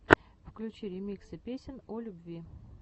включи ремиксы песен о любви